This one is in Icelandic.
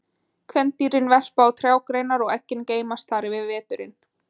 kvendýrin verpa á trjágreinar og eggin geymast þar yfir veturinn